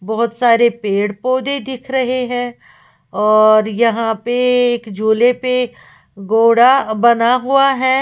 बहुत सारे पेड़ पौधे दिख रहे हैं और यहां पे एक झूले पे घोड़ा बंधा हुआ है।